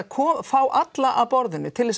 fá alla að borðinu til